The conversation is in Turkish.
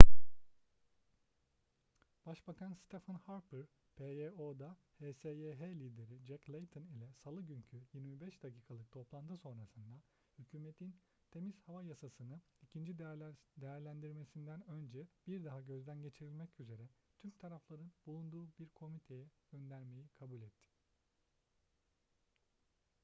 başbakan stephen harper pyo'da hsyh lideri jack layton ile salı günkü 25 dakikalık toplantı sonrasında hükümetin temiz hava yasasını' ikinci değerlendirmesinden önce bir daha gözden geçirilmek üzere tüm tarafların bulunduğu bir komiteye göndermeyi kabul etti